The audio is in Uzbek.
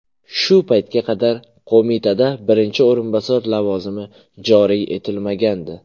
Shu paytga qadar qo‘mitada birinchi o‘rinbosar lavozimi joriy etilmagandi.